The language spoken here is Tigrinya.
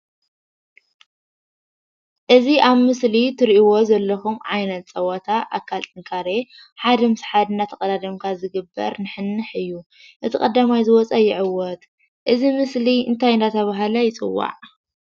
እዚ ኣብ ምስሊ እትሪእዎ ዘለኹም ዓይነት ፀወታ ኣካል ጥንካሬ ሓደ ምስ ሓደ እናተቐዳደምካ ዝግበር ንሕንሕ እዩ። እቲ ቀዳማይ ዝወፀ ይዕወት። እዚ ምስሊ እንታይ እናተብሃለ ይፅዋዕ?